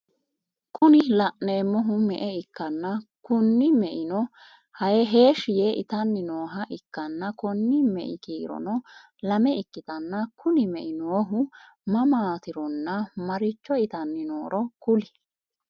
Kuri laneemmohu me'e ikkanna Kuni meino heeshi yee itanni nooha ikkana Konni me'i kiirono lame ikkitanna kuni mei noohu mamaatironna marichcho itanni nooro kuli ?